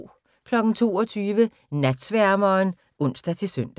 22:00: Natsværmeren (ons-søn)